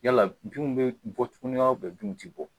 Yala binw bɛ bɔ tuguni wa? binw tɛ bɔ?